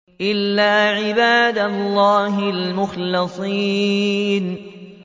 إِلَّا عِبَادَ اللَّهِ الْمُخْلَصِينَ